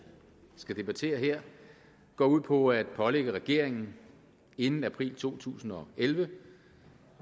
skal debattere her går ud på at pålægge regeringen inden april to tusind og elleve